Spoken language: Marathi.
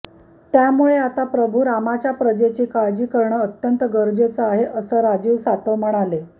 त्यामुळे आता प्रभू रामाच्या प्रजेची काळजी करणं अत्यंत गरजेचं आहे असं राजीव सातव म्हणाले